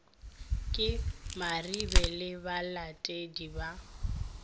ke maribe le balatedi ba